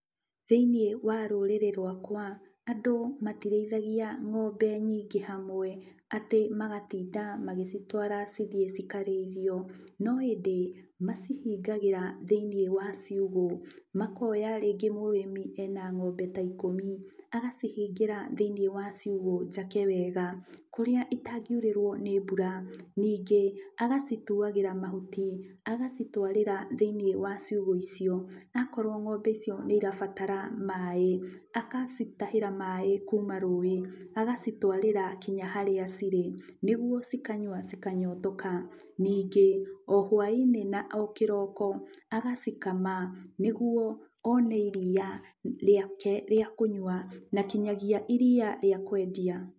Thĩiniĩ wa rũrĩrĩ rwakwa andũ matirĩithagia ng'ombe nyingĩ hamwe atĩ magatinda magĩcitwara cithiĩ cikarĩithio, no ĩndĩ macihingagĩra thĩiniĩ wa ciugũ, makoya rĩngĩ mũrĩmi ena ng'ombe ta ikũmi, agacihingĩra thĩiniĩ wa ciugũ njake wega kũrĩa itangĩurĩrwo nĩ mbura. Ningĩ agacituagĩra mahuti agacitwarĩra thĩiniĩ wa ciugũ icio. Akorwo ng'ombe icio nĩ irabatara maaĩ akacitahĩra maaĩ kuuma rũĩ, agacitwarĩra kinya harĩa cirĩ nĩgwo cikanyua cikanyotoka. Ningĩ o hwainĩ na o kĩroko agacikama nĩgwo one iria rĩake rĩa kũnyua na nginyagia iria rĩake rĩa kwendia.